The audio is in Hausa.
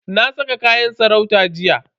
Na saka kayan sarauta jiya.